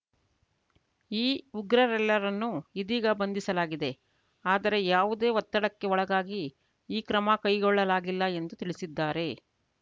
ಈ ಉಗ್ರರೆಲ್ಲರನ್ನು ಇದೀಗ ಬಂಧಿಸಲಾಗಿದೆ ಆದರೆ ಯಾವುದೇ ಒತ್ತಡಕ್ಕೆ ಒಳಗಾಗಿ ಈ ಕ್ರಮ ಕೈಗೊಳ್ಳಲಾಗಿಲ್ಲ ಎಂದು ತಿಳಿಸಿದ್ದಾರೆ